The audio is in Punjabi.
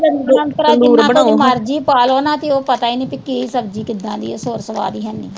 ਹੁਣ ਜਿਨ੍ਹਾਂ ਕੁਝ ਮਰਜੀ ਪਾਲੋ ਨਾ ਤੇ ਉਹ ਪਤਾ ਈ ਨਹੀਂ ਪੀ ਕੀ ਸਬਜ਼ੀ ਕਿਦਾਂ ਦੀ ਸੁਰ ਸਵਾਦ ਈ ਹੈਨੀ